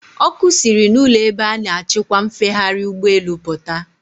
Ọkụ siri n'ụlọ ebe a na-achịkwa mfegharị ụgbọelu pụta.